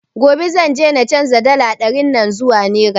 Gobe zan je na canzo dala ɗarin nan zuwa nera